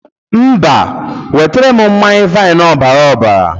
Mba, nwetara m mmanye vain ọbaraọbara.